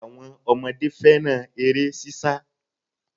Àwọn ọmọdé fẹ́ràn eré ṣíṣá